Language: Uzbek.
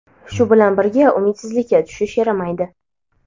Shu bilan birga, umidsizlikka tushish yaramaydi.